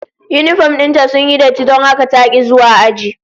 Yinifom din ta sun yi datti don haka ta ki zuwa aji